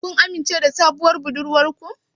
Shin kun amince da sabuwar budurwar ku?